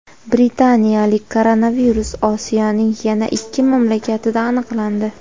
"Britaniyalik" koronavirus Osiyoning yana ikki mamlakatida aniqlandi.